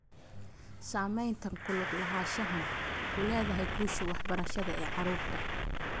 Saamaynta ku lug lahaanshahan ku leedahay guusha waxbarasho ee carruurta.